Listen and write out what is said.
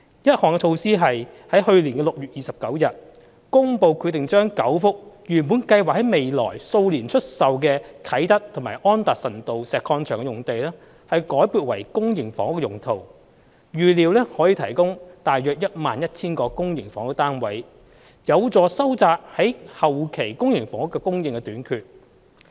一項措施是在去年6月29日公布決定將9幅原本計劃在未來數年出售的啟德及安達臣道石礦場用地，改撥為公營房屋用途，預料可提供約 11,000 個公營房屋單位，有助收窄後期公營房屋的供應短缺。